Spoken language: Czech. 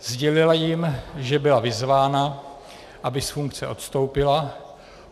Sdělila jim, že byla vyzvána, aby z funkce odstoupila.